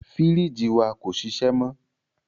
Fírìjì wa kò ṣiṣẹ́ mọ.